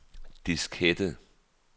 diskette